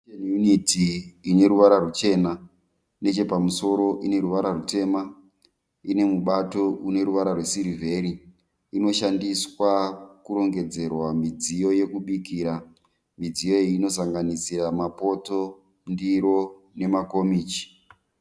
kicheni yuniti ine ruvara ruchena. Nechepamusoro ine ruvara rutema. Ine mubato une ruvara rwesirivheri. Inoshandiswa kurongedzera midziyo yekubikira. Midziyo iyi inosanganisira mapoto, ndiro nemakomichi